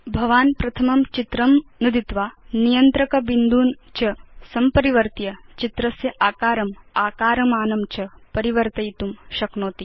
भवान् प्रथमं चित्रं नुदित्वा नियन्त्रक बिन्दून् च संपरिवर्त्य चित्रस्य आकारम् आकारमानं च परिवर्तयितुं शक्नोति